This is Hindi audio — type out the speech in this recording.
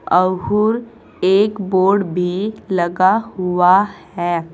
एक बोर्ड भी लगा हुआ है।